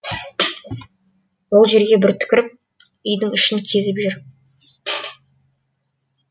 ол жерге бір түкіріп үйдің ішін кезіп жүр